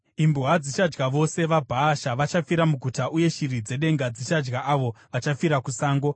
Imbwa dzichadya vose vaBhaasha vachafira muguta, uye shiri dzedenga dzichadya avo vachafira kusango.”